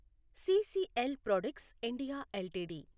CCL products India LTD